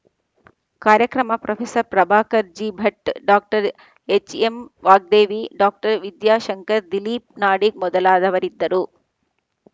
ಕಾರ್ಯಕ್ರಮ professor Prabhakar J Bhat doctor HM Vagdevi doctor Vidyashankar Dilip Nadig ಮೊದಲಾದವರಿದ್ದರು